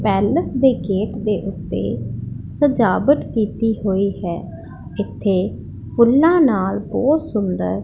palace ਦੇ gate ਦੇ ਉੱਤੇ ਸਜਾਵਟ ਕੀਤੀ ਹੋਈ ਹੈ ਇਥੇ ਫੁੱਲਾਂ ਨਾਲ ਬਹੁਤ ਸੁੰਦਰ --